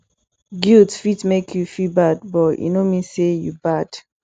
guilt fit mek yu feel bad but e no mean say yu bad